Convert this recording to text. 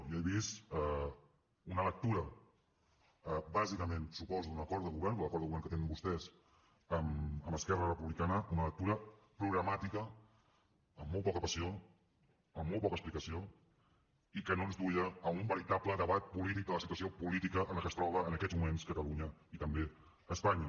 jo he vist una lectura bàsicament suposo d’un acord de govern de l’acord de govern que tenen vostès amb esquerra republicana una lectura programàtica amb molt poca passió amb molta poca explicació i que no ens duia a un veritable debat polític de la situació política en la que es troba en aquests moments catalunya i també espanya